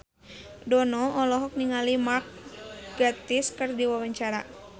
Dono olohok ningali Mark Gatiss keur diwawancara